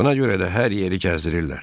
Buna görə də hər yeri gəzdirirlər.